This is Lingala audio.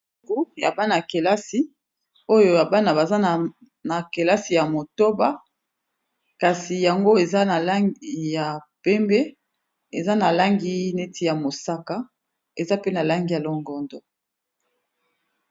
Buku ya bana kelasi oyo ya bana baza na kelasi ya motoba kasi yango eza na langi ya pembe eza na langi neti ya mosaka eza pe na langi ya longondo.